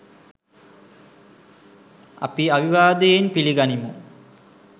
අපි අවිවාදයෙන් පිළිගනිමු.